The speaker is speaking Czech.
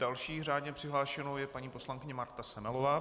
Další řádně přihlášenou je paní poslankyně Marta Semelová.